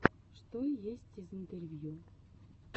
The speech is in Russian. что есть из интервью